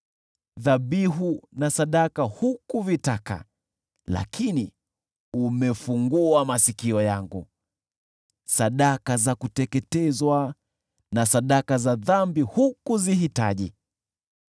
Dhabihu na sadaka hukuvitaka, lakini umefungua masikio yangu; sadaka za kuteketezwa na sadaka za dhambi hukuzihitaji.